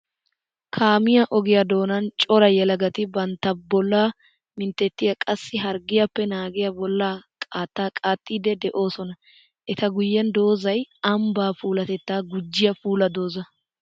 Kaamiya ogiya doonan cora yelagatti bantta bolla minttetiya qassikka harggiyappe naagiya bolla qaatta oottidde de'osonna. Etta guyen doozzay ambba puulatetta gujiya puula dooza.